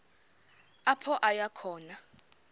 apho aya khona